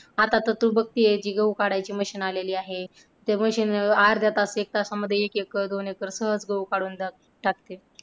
आता तर तू बघते कि गहू काढायची machine आलेली आहे. ते machine अर्धा तास एक तासांमध्ये एक एकर, दोन एकर सहज गहू काढून टाकते.